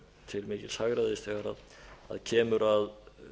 til mikils hagræðis þegar kemur að